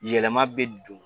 Yɛlɛma bɛ don.